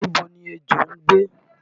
Níbo ni ejò ń gbé?